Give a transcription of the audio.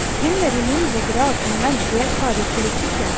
At kvinner i mindre grad enn menn deltar i politikken